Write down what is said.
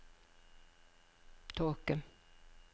tåke